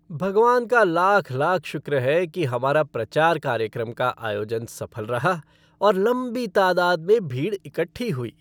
भगवान का लाख लाख शुक्र है कि हमारा प्रचार कार्यक्रम का आयोजन सफल रहा और लम्बी तादाद में भीड़ इकट्ठी हुई।